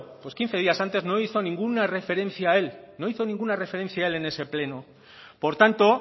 quince días antes no hizo ninguna referencia a él en ese pleno por tanto